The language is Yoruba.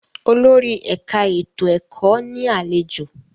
Olórí ẹ̀ka ètò ẹ̀kọ́ ní àlejò.